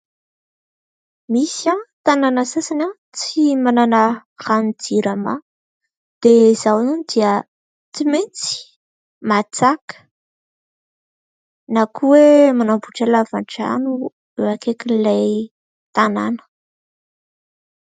Misy tanàna sasany tsy manana ny rano'ny JIRAMA dia izao dia tsy maintsy matsaka na koa hoe manamboatra lava-drano eo akaikin'ilay tanàna.